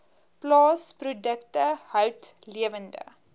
plaasprodukte hout lewende